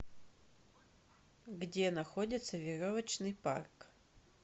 где находится веревочный парк